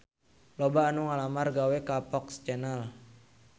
Loba anu ngalamar gawe ka FOX Channel